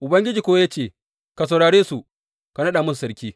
Ubangiji kuwa ya ce, Ka saurare su, ka naɗa masu sarki.